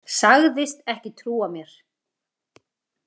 Sagðist ekki trúa mér.